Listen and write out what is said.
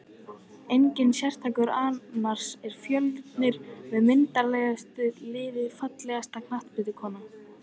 Enginn sérstakur annars er fjölnir með myndarlegasta liðið Fallegasta knattspyrnukonan?